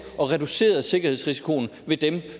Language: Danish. og reducerede sikkerhedsrisikoen ved dem